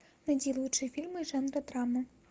найди лучшие фильмы жанра драма